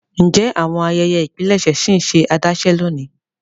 Ǹjẹ́ awọn ayẹyẹ́ ipílẹṣẹ̀ ṣì nṣẹ adásẹ̀ lóńi?